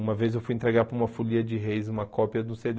Uma vez eu fui entregar para uma folia de Reis uma cópia do cê dê.